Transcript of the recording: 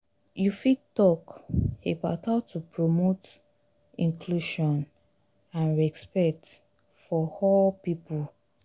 you fit talk about how to promote inclusion and respect for all people.